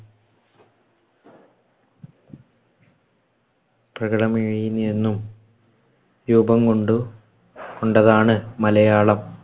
രൂപം കൊണ്ടു കൊണ്ടതാണ് മലയാളം.